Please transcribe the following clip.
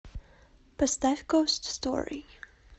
поставь гост стори